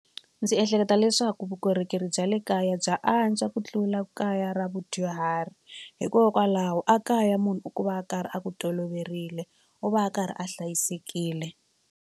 Ndzi ehleketa leswaku vukorhokeri bya le kaya bya antswa ku tlula kaya ra vudyuhari hikokwalaho a kaya munhu u va a karhi a ku toloverile u va a karhi a hlayisekile.